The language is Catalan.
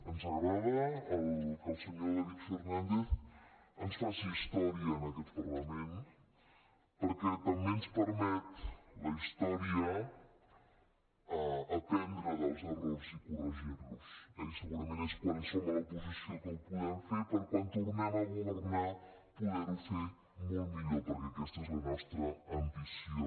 ens agrada que el senyor david fernàndez ens faci història en aquest parlament perquè també ens permet la història aprendre dels errors i corregir los eh i segurament és quan som a l’oposició que ho podem fer per a quan tornem a governar poder ho fer molt millor perquè aquesta és la nostra ambició